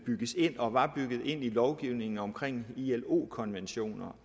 bygges ind og var bygget ind i lovgivningen om ilo konventioner